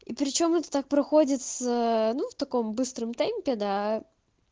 и причём это так проходит с ну в таком быстром темпе да